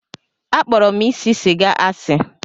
Akpọrọ m isi sịga asị.